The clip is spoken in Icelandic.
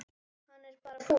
Hann er bara fúll.